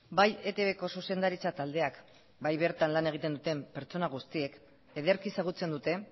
bai etbko zuzendaritza taldeak bai bertan lan egiten duten pertsona guztiek ederki ezagutzen dute